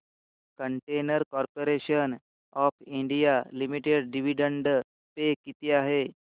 container corporation of India limited dividend pay किती आहे